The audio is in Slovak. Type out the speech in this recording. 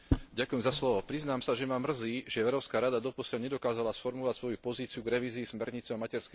Priznám sa, že ma mrzí, že Európska rada doposiaľ nedokázala sformulovať svoju pozíciu k revízii smernice o materskej dovolenke.